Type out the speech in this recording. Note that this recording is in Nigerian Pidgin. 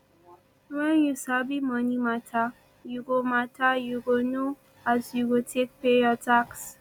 wen you sabi moni mata yu go mata yu go know as you go take pay yur tax